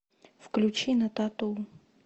включи на тату